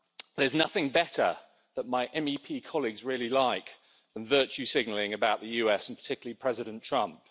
There's nothing better that my MEP colleagues really like than virtue signalling about the US and particularly President Trump.